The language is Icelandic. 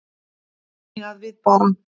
Þannig að við bara.